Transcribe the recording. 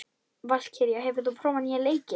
Valkyrja, hefur þú prófað nýja leikinn?